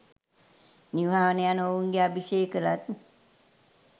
නිවහන යනු ඔවුන්ගේ අභිෂේක ලත්